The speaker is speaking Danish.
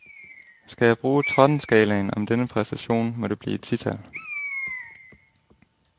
Skal jeg bruge trettenskalaen om denne præstation, må det blive et tital.